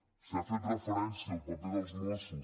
s’ha fet referència al paper dels mossos